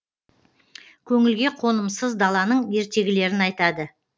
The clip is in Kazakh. көңілге қонымсыз даланың ертегілерін айтады